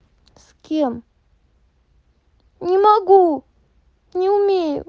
с кем не могу не умею